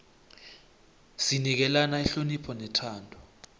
sinikelana ihonopho nethando